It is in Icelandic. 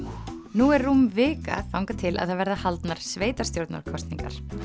nú er rúm vika þangað til það verða haldnar sveitarstjórnarkosningar